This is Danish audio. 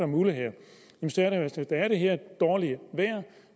muligheder der er det her dårlige vejr